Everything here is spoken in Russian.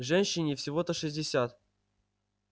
женщине всего-то шестьдесят